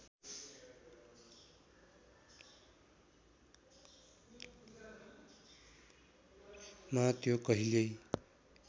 मा त्यो कहिल्यै